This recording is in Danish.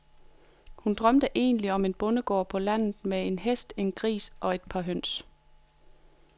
Hun drømte egentlig om en bondegård på landet med en hest, en gris og et par høns.